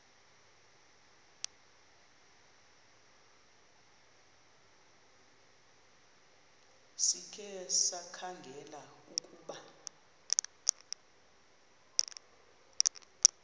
sikhe sikhangele ukuba